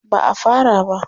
Ba a fara ba.